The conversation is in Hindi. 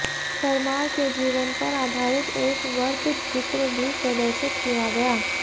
परमार के जीवन पर आधारित एक वृत्तचित्र भी प्रदर्शित किया गया